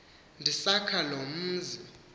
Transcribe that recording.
ndisakha lo mzi